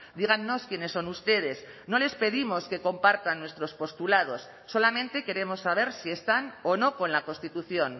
dígannos quiénes son ustedes no les pedimos que compartan nuestros postulados solamente queremos saber si están o no con la constitución